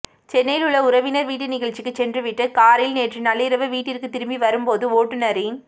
சென்னையில் உள்ள உறவினர் வீட்டு நிகழ்ச்சிக்கு சென்றுவிட்டு காரில் நேற்று நள்ளிரவு வீட்டிற்கு திரும்பி வரும்போது ஓட்டுநரின்